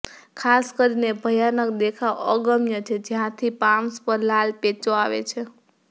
ખાસ કરીને ભયાનક દેખાવ અગમ્ય છે જ્યાંથી પામ્સ પર લાલ પેચો આવે છે